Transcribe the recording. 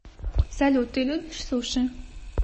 салют ты любишь суши